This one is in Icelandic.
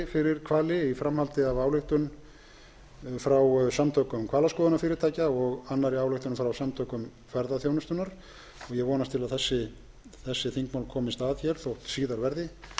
fyrir hvali í framhaldi af ályktun frá samtökum hvalaskoðunarfyrirtækja og annarri ályktun frá samtökum ferðaþjónustunnar ég vonast til að þessi þingmál komist að þó síðar verði